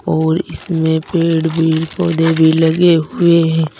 और इसमें पेड़ भी पौधे भी लगे हुए हैं।